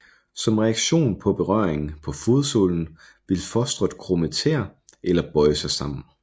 Som reaktion på berøring på fodsålen vil fostret krumme tæer eller bøje sig sammen